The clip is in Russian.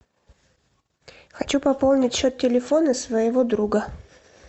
хочу пополнить счет телефона своего друга